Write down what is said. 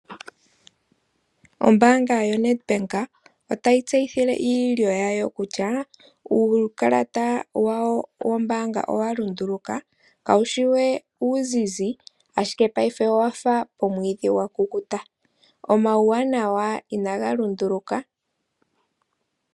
Ombaanga yoNedbank otayi tseyithile iilyo yawo kutya uukalata wawo wombaanga owa lunduluka, kawushi we uuzizi ashike paife owafa omwiidhi gwa kukuta. Omawuwanawa inaga lunduluka.